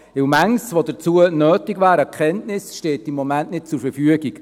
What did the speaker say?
Vieles, was an Erkenntnis nötig wäre, steht nicht zur Verfügung.